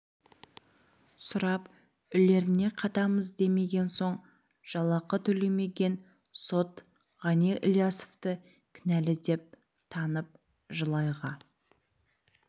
сұрап үлеріне қатамыз демеген соң жалақы төлемеген сот ғани ілиясовты кінәлі деп танып жыл айға